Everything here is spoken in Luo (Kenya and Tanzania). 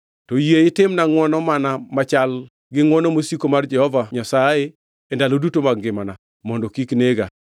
To yie itimna ngʼwono mana machal gi ngʼwono mosiko mar Jehova Nyasaye e ndalo duto mag ngimana, mondo kik nega,